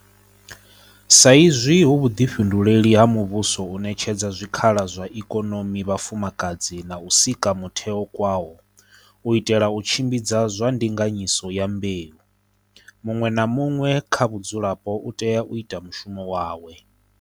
Sa izwi hu vhuḓifhinduleli ha muvhuso u ṋetshedza zwikhala zwa ikonomi vhafumakadzi na u sika mutheo kwao u itela u tshimbidza zwa ndinganyiso ya mbeu, muṅwe na muṅwe kha vhadzulapo u tea u ita mushumo wawe.